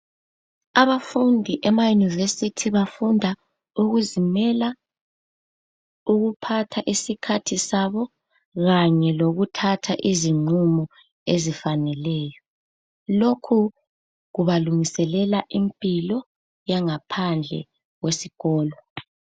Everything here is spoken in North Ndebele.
Abafundi emayunivesithi bafunda ukuzimela, ukuphatha isikhathi sabo kanye lokuthatha izinqumo ezifaneleyo. Lokhu kubalungiselela impilo yangaphandle kwesikolo.